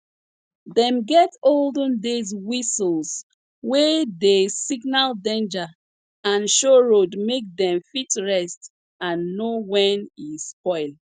dem get olden days whistles wey dey signal danger and show road make dem fit rest and know when e spoil